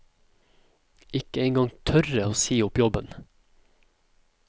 Ikke engang tørre å si opp jobben.